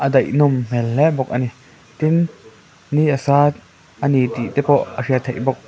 daih nawm hmel hle bawk a ni tin ni a sa tih te pawh a hriat theih bawk.